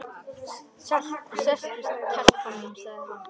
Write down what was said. Sestu telpa mín, sagði hann.